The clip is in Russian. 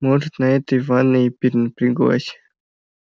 может на этой ванной и перенапряглась